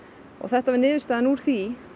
og þetta var niðurstaðan úr því